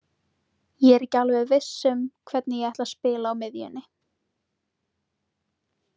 Ég er ekki alveg viss um hvernig ég ætla að spila á miðjunni.